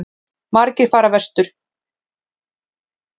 Margir fara vestur